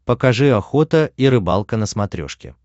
покажи охота и рыбалка на смотрешке